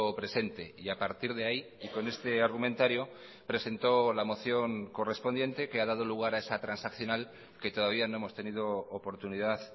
presente y a partir de ahí y con este argumentario presentó la moción correspondiente que ha dado lugar a esa transaccional que todavía no hemos tenido oportunidad